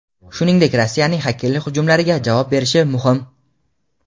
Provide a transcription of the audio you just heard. shuningdek Rossiyaning xakerlik hujumlariga javob berish muhim.